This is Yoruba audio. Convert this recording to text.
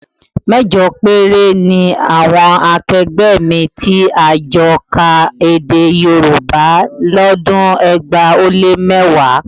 Mẹ́jọ péré ni àwọn akẹgbẹ́ mi tí a jọ ka Èdè Yorùbá lọ́dún ẹgbàá ó lé mẹ́wàá